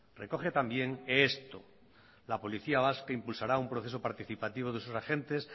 recoge también esto la policía vasca impulsará un proceso participativo de sus agentes